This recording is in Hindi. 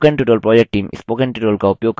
spoken tutorial project team